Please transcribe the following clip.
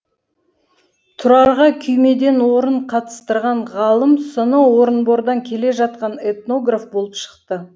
тұрарға күймеден орын қатыстырған ғалым соноу орынбордан келе жатқан этнограф болып шықты